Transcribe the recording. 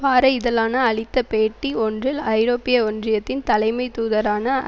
வார இதழான அளித்த பேட்டி ஒன்றில் ஐரோப்பிய ஒன்றியத்தின் தலைமை தூதரான